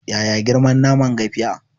Yaya girman naman gafiya?